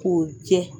K'o jɛ